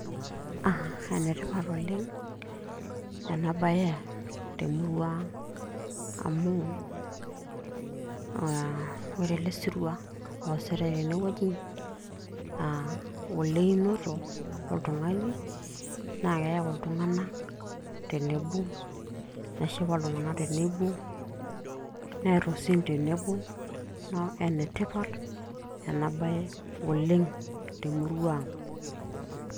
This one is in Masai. ene tipat oleng' ena bae temurua ang, amu aa ore ele sirua oositae tene wueji naa oleinoto oltung'ani. naa keyau iltung'anak tenebo, neshipa iltunganak tenebo, neer osim tenebo, neeku ene tipat oleng ena bae temurua ang'.